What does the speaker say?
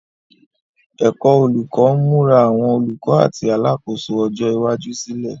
Ẹ̀kọ́ Olùkọ́ ń múra àwọn olùkọ́ àti alákòóso ọjọ́ iwájú sílẹ̀.